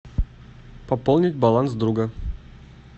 пополнить баланс друга